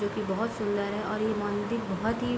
जो की बहुत सुंदर है और ये मंदिर बहुत ही --